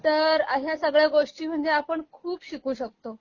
तर ह्या सगळ्या गोष्टी म्हणजे आपण खूप शिकू शकतो.